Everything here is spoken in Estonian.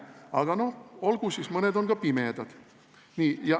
Aga no olgu siis, mõned on ka pimedad.